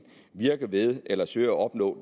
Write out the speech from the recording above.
virker ved eller søger at opnå